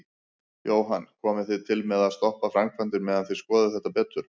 Jóhann: Komið þið til með að stoppa framkvæmdir meðan þið skoðið þetta betur?